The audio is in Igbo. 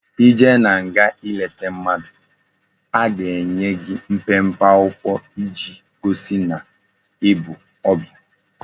I jee na nga i leta mmadu a ga enye gi mpempe akwukwo iji gosi na ibu obia